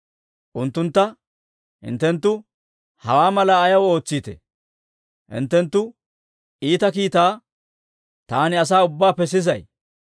Unttuntta, «Hinttenttu hawaa malaa ayaw ootsiitee? Hinttenttu iita kiitaa taani asaa ubbaappe sisay.